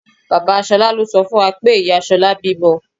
Bàbá Ṣolá ló sọ fún wa pé ìyá Ṣolá bímọ.